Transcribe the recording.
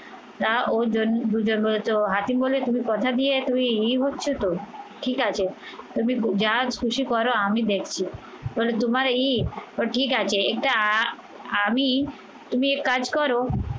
তা ওই জন্য দুজন হয়তো হাতিম বলে তুমি কথা দিয়ে তুমি ইয়ে হচ্ছে তো ঠিক আছে তুমি যা খুশি করো আমি দেখছি বলে তোমার ঈদ ও ঠিক আছে এটা আমি তুমি এক কাজ করো